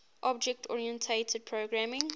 object oriented programming